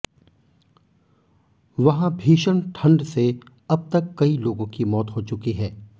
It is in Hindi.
वहां भीषण ठंड से अब तक कई लोगों की मौत हो चुकी है